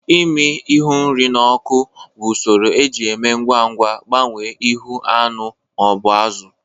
Ịmi ihu nri n'oku bụ usoro eji eme ngwa ngwa agbanwe ihu anụ ma ọ bụ azụ